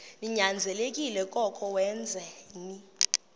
ninyanzelekile koko wenzeni